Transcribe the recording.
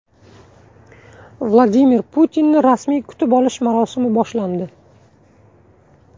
Vladimir Putinni rasmiy kutib olish marosimi boshlandi .